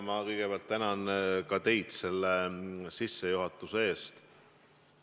Ma kõigepealt tänan ka teid selle sissejuhatuse eest!